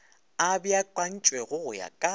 a beakantšwego go ya ka